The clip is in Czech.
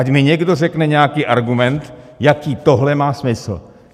Ať mi někdo řekne nějaký argument, jaký tohle má smysl.